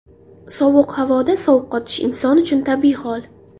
Sovuq havoda sovqotish inson uchun tabiiy hol.